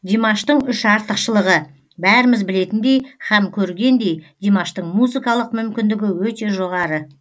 димаштың үш артықшылығы бәріміз білетіндей һәм көргендей димаштың музыкалық мүмкіндігі өте жоғары